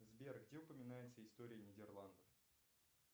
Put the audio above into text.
сбер где упоминается история нидерландов